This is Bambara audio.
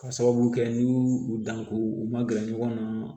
Ka sababu kɛ n'u y'u u dan ko u ma gɛrɛ ɲɔgɔn na